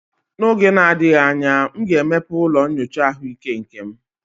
N'oge na-adịghị anya, m ga-emepe ụlọ nyocha ahụike nke m